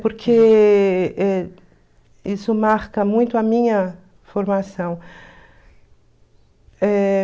Eh... Porque eh isso marca muito a minha formação.